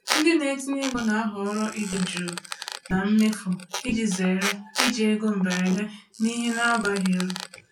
Ndị na-etinye ego na-ahọrọ ịdị jụụ na mmefu iji zere iji ego mberede n’ihe na-abaghị uru.